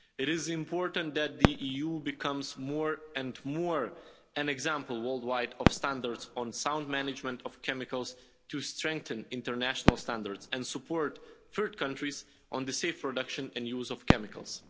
It is important that the EU becomes more and more an example worldwide of standards on sound management of chemicals to strengthen international standards and support third countries in the safe production and use of chemicals.